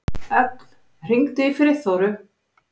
Ögn, hringdu í Friðþóru.